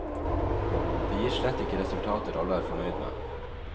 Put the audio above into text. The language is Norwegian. Det gir slett ikke resultater alle er fornøyd med.